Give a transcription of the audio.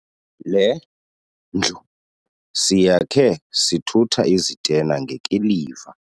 Le ndlu siyakhe sithutha izitena ngekiliva.